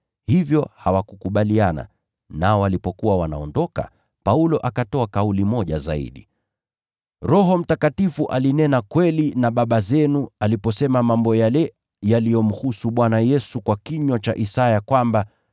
Hivyo hawakukubaliana, nao walipokuwa wanaondoka, Paulo akatoa kauli moja zaidi: “Roho Mtakatifu alinena kweli na baba zenu aliposema mambo yale yaliyomhusu Bwana Yesu kwa kinywa cha nabii Isaya kwamba: